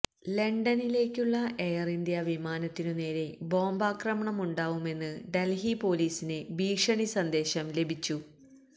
ലണ്ടനിലേക്കുള്ള air India വിമാനത്തിനുനേരെ ബോംബാക്രമണമുണ്ടാവുമെന്ന് ഡല്ഹി പോലീസിന് ഭീഷണി സന്ദേശം ലഭിച്ചു